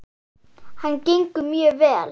Hann gengur mjög vel.